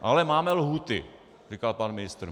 Ale máme lhůty, říkal pan ministr.